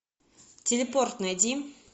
телепорт найди